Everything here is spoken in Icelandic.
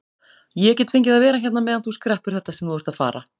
Ég get fengið að vera hérna meðan þú skreppur þetta sem þú ert að fara.